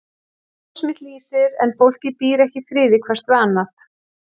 Ljós mitt lýsir en fólkið býr ekki í friði hvert við annað.